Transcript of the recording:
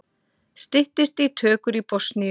Styttist í tökur í Bosníu